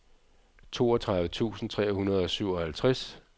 toogtredive tusind tre hundrede og syvoghalvtreds